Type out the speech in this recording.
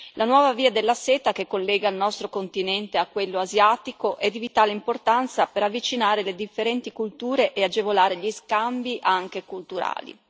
La nuova via della seta, che collega il nostro continente a quello asiatico, è di vitale importanza per avvicinare le differenti culture e agevolare gli scambi anche culturali.